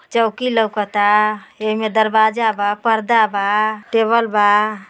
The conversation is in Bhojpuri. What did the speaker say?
चौकी लौउकता एमए दरवाजा बा पर्दा बा टेबल बा।